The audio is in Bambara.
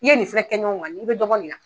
I ye nin filɛ kɛ ɲɔgɔn kan i bɛ dɔ bɔ nin na.